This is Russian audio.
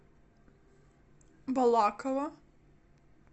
балаково